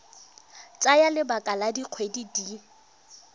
tsaya lebaka la dikgwedi di